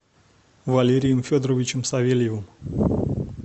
валерием федоровичем савельевым